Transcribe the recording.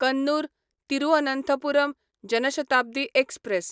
Kannur Thiruvananthapuram Jan Shatabdi express